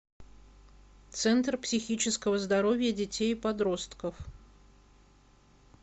центр психического здоровья детей и подростков